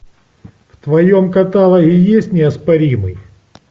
в твоем каталоге есть неоспоримый